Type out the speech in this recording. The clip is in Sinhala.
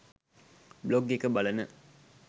බ්ලොග් එක බලන